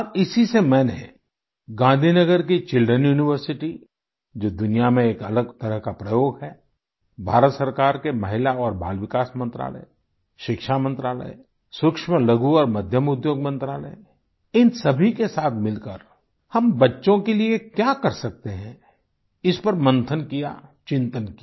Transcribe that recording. और इसी से मैंने गांधीनगर की चिल्ड्रेन यूनिवर्सिटी जो दुनिया में एक अलग तरह का प्रयोग है भारत सरकार के महिला और बाल विकास मंत्रालय शिक्षा मंत्रालय सूक्ष्मलघु और मध्यम उद्योग मंत्रालय इन सभी के साथ मिलकर हम बच्चों के लिये क्या कर सकते हैं इस पर मंथन किया चिंतन किया